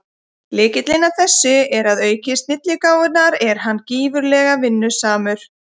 Lykillinn að þessu er að auk snilligáfunnar er hann gífurlega vinnusamur.